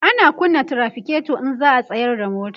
ana kunna trafiketo in za'a tsayar da mota